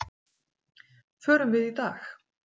Förum við í dag?